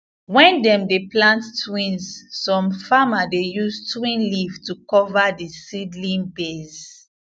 when dem dey plant twins some farmers dey use twin leave to cover the seedling base